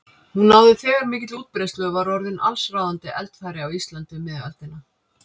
Hún náði þegar mikilli útbreiðslu og var orðin allsráðandi eldfæri á Íslandi um miðja öldina.